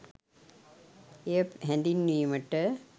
එය හැඳින්වීමට